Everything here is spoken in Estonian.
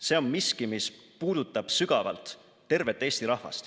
See on miski, mis puudutab sügavalt tervet Eesti rahvast.